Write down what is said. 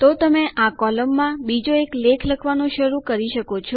તો તમે આ કોલમમાં બીજો એક લેખ લખવાનું શરૂ કરી શકો છો